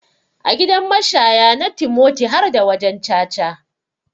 A gidan mashaya na timoti harda wajan caca.